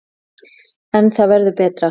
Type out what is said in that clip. En það verður betra.